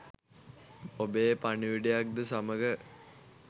ඔබේ පණිවුඩයක් ද සමඟ